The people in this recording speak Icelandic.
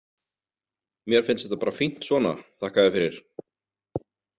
Mér finnst þetta bara fínt svona, þakka þér fyrir.